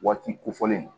Waati kofɔlen do